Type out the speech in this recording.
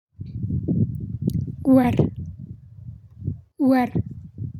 ወር ወር።